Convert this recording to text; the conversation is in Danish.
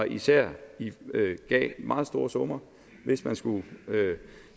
især gav meget store summer hvis man skulle